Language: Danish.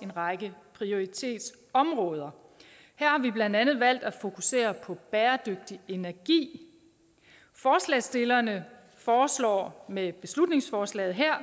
en række prioritetsområder her har vi blandt andet valgt at fokusere på bæredygtig energi forslagsstillerne foreslår med beslutningsforslaget her